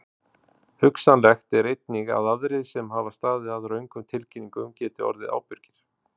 Hugsanlegt er einnig að aðrir sem hafa staðið að röngum tilkynningum geti orðið ábyrgir.